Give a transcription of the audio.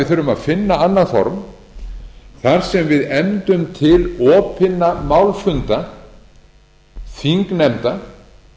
þurfum að finna annað form þar sem við efndum til opinna málfunda þingnefnda